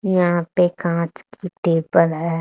यहाँ पे काँच की टेबल हैं।